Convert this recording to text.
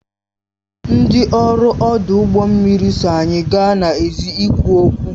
Ndị ọrụ ọdụ ụgbọ mmiri so anyị gaa n'èzí ịkwu okwu